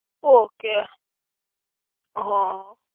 okay હા